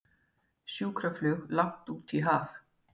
Sjúkraflug langt út í haf